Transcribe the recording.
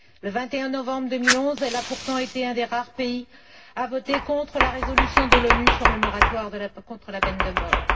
Le 21 novembre 2011, elle a pourtant été l'un des rares pays à voter contre la résolution de l'ONU sur le moratoire contre la peine de mort.